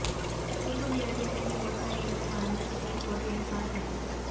சிங்கூர் நிலத்தை மீண்டும் விவசாயிகளிடம் வழங்க சுப்ரீம் கோர்ட் இடைக்காலத் தடை